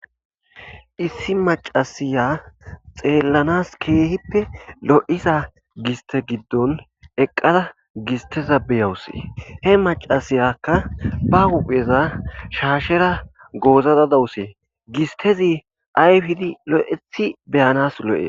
issi macasiya xeellanas keehippe lo7iza gistte giddon eqqada gisteza beyawusi he macasiyakka ba hupheza shaashera goozaada dawusi gistezi ayfidi lo7etti be7anas lo7e.